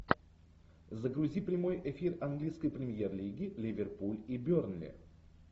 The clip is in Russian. загрузи прямой эфир английской премьер лиги ливерпуль и бернли